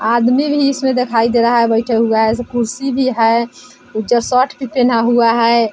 आदमी भी इसमें दिखाई दे रहा है बेठा हुआ है ऐसे कुर्सी भी है जो शर्ट भी पेहेना हुआ है।